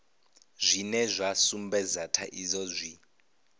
zwine zwa sumbedza thaidzo zwi